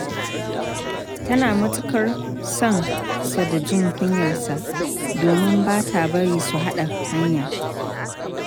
Tana matuƙar son sa da jin kunyarsa, domin ba ta bari su haɗa hanya.